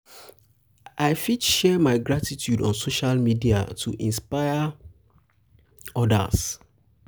i fit share my gratitude on social media to inspire media to inspire others.